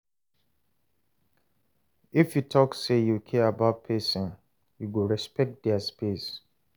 If you talk say you care about pesinn, you go respect their space.